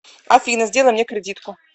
афина сделай мне кредитку